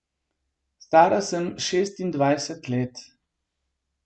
Stara sem šestindvajset let.